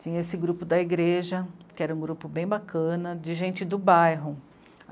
Tinha esse grupo da igreja, que era um grupo bem bacana, de gente do bairro.